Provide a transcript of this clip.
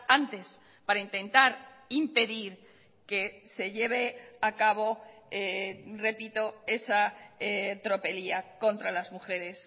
antes para intentar impedir que se lleve a cabo repito esa tropelía contra las mujeres